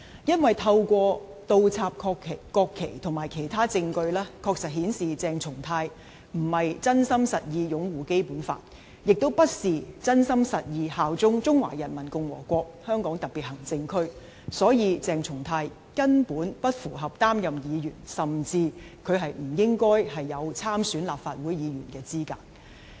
因為透過倒插國旗及其他證據，確實顯示鄭松泰並非真心實意擁護《基本法》，亦非真心實意效忠中華人民共和國香港特別行政區，所以鄭松泰根本不符合擔任議員，他甚至不應具備參選立法會的資格。